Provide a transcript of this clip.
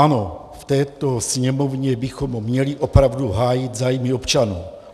Ano, v této Sněmovně bychom měli opravdu hájit zájmy občanů.